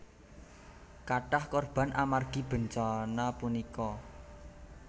Kathah korban amargi bencana punika